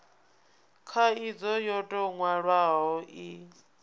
khaidzo yo tou nwalwaho i